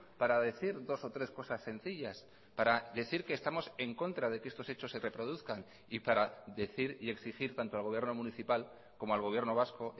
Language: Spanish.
para decir dos o tres cosas sencillas para decir que estamos en contra de que estos hechos se reproduzcan y para decir y exigir tanto al gobierno municipal como al gobierno vasco